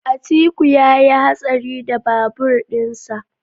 Atiku yayi hatsari da babur din sa.